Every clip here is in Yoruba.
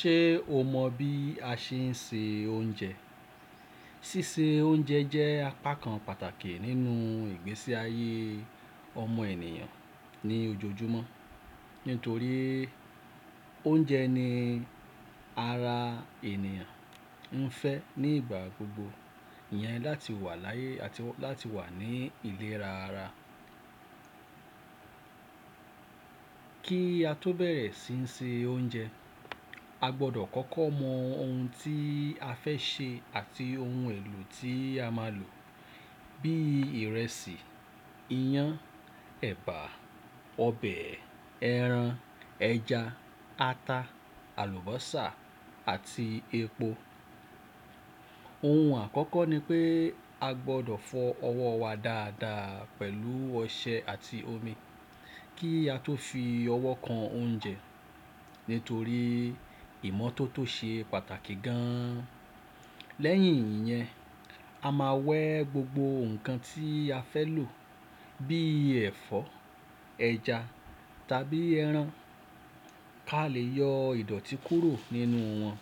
Ṣé o mọ bí a ṣe ń se oúnjẹ? Sísé oúnjẹ jẹ́ apá kan pàtàkì nínú ìgbésí ayé ọmọ ènìyàn ní ojoojúmọ́. Nítorí oúnjẹ ní ara ènìyàn ń fẹ́ ní ìgbà gbogbo, ìyẹn láti wà láyé àti láti wà ní ìlera ara. Kí a tó bẹ̀rẹ̀ sí ń se oúnjẹ, a gbọdọ̀ kọ́kọ́ mọ ohun tí a fẹ́ sè àti ohun èlò tí a máa lò bíi ìrẹsì, iyán, ẹ̀bà, ọbẹ̀, ẹran, ẹja, ata, àlùbọ́sà àti epo. Ohun àkọ́kọ́ ni pé a gbọdọ̀ fọ ọwọ́ wa dáadáa pẹ̀lú ọṣẹ àti omi kí a tó fi ọwọ́ kan oúnjẹ nítorí ìmọ́tótó ṣe pàtàkì gan an. Lẹ́yìn ìyẹn, a máa wẹ́ gbogbo ǹkan tí a fẹ́ lò bí ẹ̀fọ́, ẹja tàbí ẹran a lè yọ ìdọ̀tí kúrò nínú wọn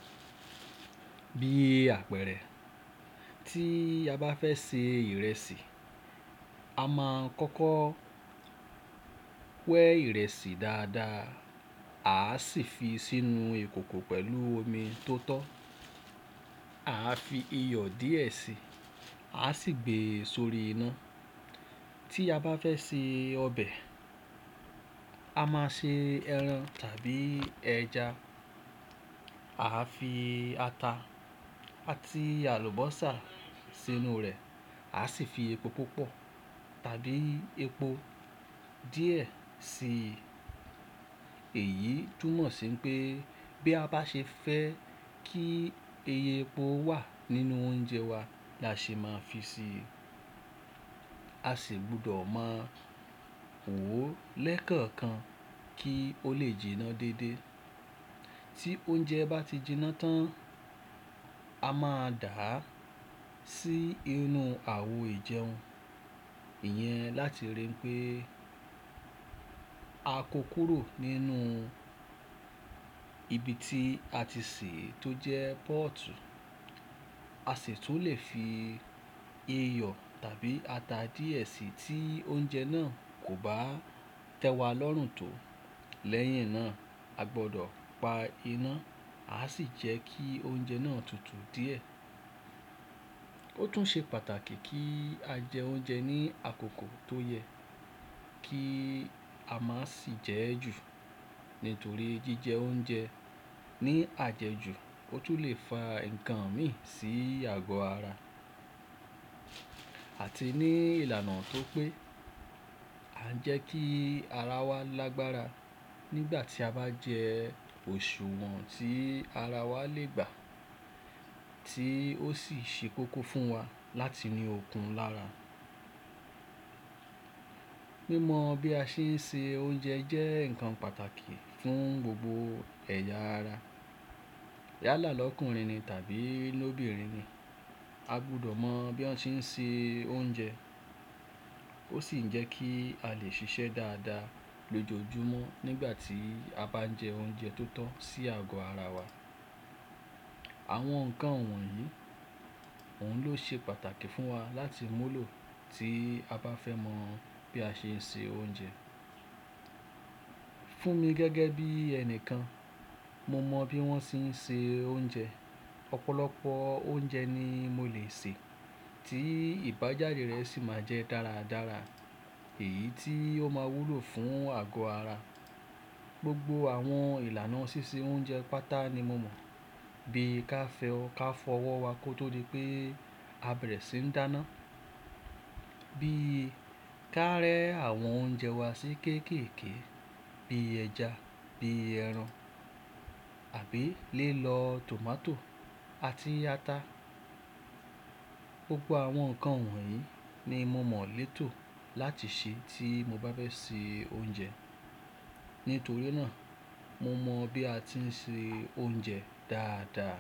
bíi àpẹ̀rẹ̀. Tí a bá fẹ́ se ìrẹsì, a máa kọ́kọ́ wẹ́ ìrẹsì dáadáa, a á sì fi sínú ìkòkò pẹ̀lú omi tó tọ́. A á fi iyọ̀ díẹ̀ síi, a á sì gbé e sórí iná. Tí a bá fẹ́ se ọbẹ̀, a máa se ẹran tàbí ẹja. A á fi ata àti àlùbọ́sà sínú rẹ̀, a á sì fi epo púpọ̀ tàbí epo díẹ̀ sí i. Èyí túmọ̀ sí pé bí a bá ṣe fẹ́ kí iye epo wà nínú oúnjẹ wa la ṣe máa fi si i. A sì gbọdọ̀ máa wò ó lẹ́kọ̀ọ̀kan kí ó lè jiná dédé. Tí oúnjẹ bá ti jiná tán, a máa dà á sí inú àwo ìjẹun, ìyẹn láti ríi pé a kó kúrò nínú ibi tí a ti sè é tó jẹ́ póòtù. A sì tún lè fi iyọ̀ tàbí ata díẹ̀ sí i tí oúnjẹ náà kò bá tẹ́ wa lọ́rùn tó. Lẹ́yìn náà a gbọdọ̀ pa iná, a á sì jẹ́ kí oúnjẹ náà tutù díẹ̀. Ó tún ṣe pàtàkì kí a jẹ oúnjẹ ní àkókò tó yẹ kí a má sì jẹ́ ẹ jù, nítorí jíjẹ oúnjẹ ní àjẹjù ó tún lè fa ǹkan mìíràn sí àgọ́ ara. Àti ní ìlànà tó pé a ń jẹ́ kí ara wa lágbára nígbà tí a bá jẹ òṣùwọ̀n tí ara wa lè gbà tí ó sì ṣe kókó fún wa láti ní okun lára. Mímọ bí a ṣe ń se oúnjẹ jẹ́ ǹkan pàtàkì fún gbogbo ẹ̀yà ara. Yala làlọ́kùnrin ni tàbí lóbìnrin ni, a gbọdọ̀ mọ bí wọ́n ṣe ń se oúnjẹ. Ó sì ń jẹ́ kí a lè ṣiṣẹ́ dáadáa lójoojúmọ́ nígbà tí a bá ń jẹ oúnjẹ tó tọ́ sí àgọ́ ara wa. Àwọn ǹkan wọ̀nyí, òun ló ṣe pàtàkì fún wa láti mu lò tí a bá fẹ́ mọ bí a ṣe ń se oúnjẹ. Fún mi gẹ́gẹ́ bí ẹni kan, mo mọ bí wọ́n ṣe ń se oúnjẹ. Ọ̀pọ̀lọpọ̀ oúnjẹ ni mo lè sè tí ìbájade rẹ̀ sì máa jẹ́ dáradára èyí tí ó máa wúlò fún àgọ́ ara. Gbogbo àwọn ìlànà ṣíṣe oúnjẹ pátá ni mo mọ̀, bí ka fẹ ọ́ ká fọ ọwọ́ wa kó tó di pé a bẹ̀rẹ̀ sí ń dáná, bí ka rẹ́ àwọn oúnjẹ wa sí kéékèèké bí ẹja, bí ẹran àbí lílọ tòmátò àti ata. Gbogbo àwọn ǹkan wọ̀nyí ni mo mọ̀ létò láti ṣe tí mo bá fẹ́ sè oúnjẹ. Nítorí náà mo mọ bí a tí ń se oúnjẹ dáadáa.